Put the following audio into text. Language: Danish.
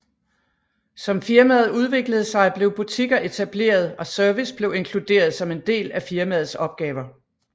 Som firmaet udviklede sig blev butikker etableret og service blev inkluderet som en del af firmaets opgaver